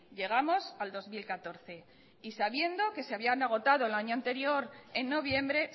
llegamos al dos mil catorce y sabiendo que se habían agotado el año anterior en noviembre